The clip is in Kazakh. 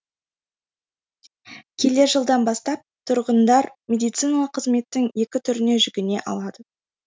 келер жылдан бастап тұрғындар медициналық қызметтің екі түріне жүгіне алады